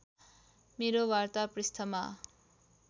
मेरो वार्ता पृष्ठमा